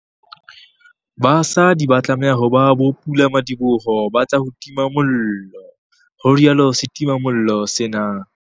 BASADI ba tlameha ho ba bopulamadiboho ba tsa ho tima mollo, ho rialo setimamollo sena.